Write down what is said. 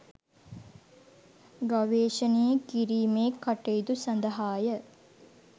ගවේෂණය කිරීමේ කටයුතු සඳහාය